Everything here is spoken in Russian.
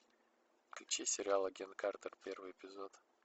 включи сериал агент картер первый эпизод